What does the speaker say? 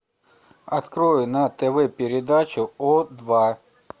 открой на тв передачу о два